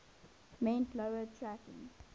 meant lower tracking